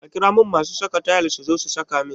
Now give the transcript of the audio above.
Ka ƙira mun masu saka tayil suzo su saka min